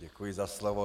Děkuji za slovo.